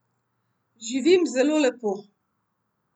Živim zelo lepo.